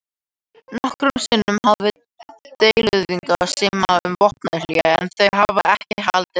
Nokkrum sinnum hafa deiluaðilar samið um vopnahlé en þau hafa ekki haldið til lengdar.